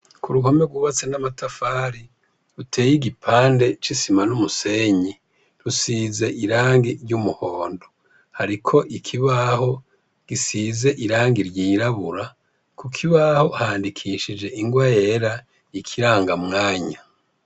Ku ruhome rwubatse n'amatafari ruteye igipande cisima n'umusenyi rusize irangi ry'umuhondo hariko ikibaho gisize irange ryirabura ku kibaho handikishije ingwa yera ikiranga mwanya.